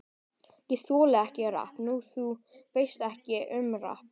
Ég þoli ekki rapp Nei, þú veist ekkert um rapp.